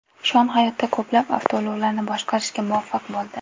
Shon hayotda ko‘plab avtoulovlarni boshqarishga muvaffaq bo‘ldi.